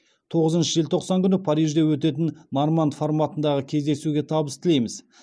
тоғызыншы желтоқсан күні парижде өтетін норманд форматындағы кездесуге табыс тілейміз